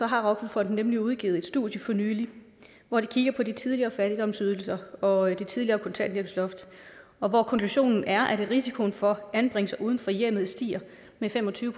har offerfonden nemlig udgivet et studie for nylig hvor de kigger på de tidligere fattigdomsydelser og det tidligere kontanthjælpsloft og hvor konklusionen er at risikoen for anbringelse uden for hjemmet stiger med fem og tyve